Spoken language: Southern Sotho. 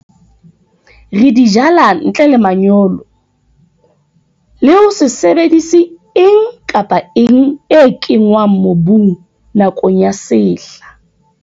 Re di jala ntle le manyolo, le ho se sebedise eng kapa eng e kenngwang mobung nakong ya sehla.